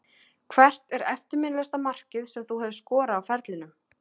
Hvert er eftirminnilegasta markið sem þú hefur skorað á ferlinum?